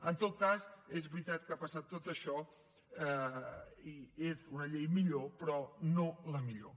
en tot cas és veritat que ha passat tot això i és una llei millor però no la millor